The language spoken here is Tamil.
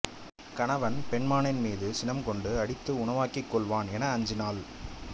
கணவன் பெண்மானின்மீது சினம் கொண்டு அடித்து உணவாக்கிக் கொள்வான் என அஞ்சினாள்